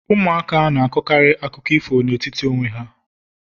Ụmụaka na-akọkarị akụkọ ifo n'etiti onwe ha